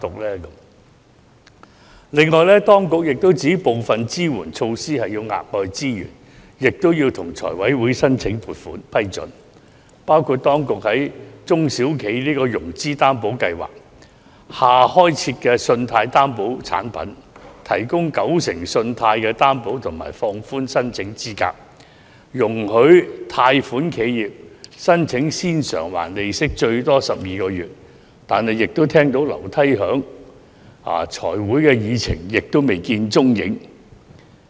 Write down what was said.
另外，當局也指部分支援措施需要額外資源，亦要向財委會申請撥款批准，包括當局表示會在"中小企融資擔保計劃"下開設新的信貸擔保產品，提供九成信貸擔保及放寬申請資格、容許貸款企業申請先償還利息最多12個月，但這也是只聞樓梯響，在財委會的議程上未見蹤影。